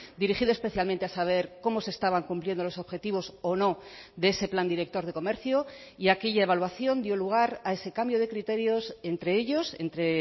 dirigido especialmente a saber cómo se estaban cumpliendo los objetivos o no de ese plan director de comercio y aquella evaluación dio lugar a ese cambio de criterios entre ellos entre